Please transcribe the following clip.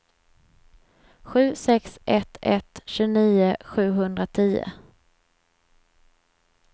sju sex ett ett tjugonio sjuhundratio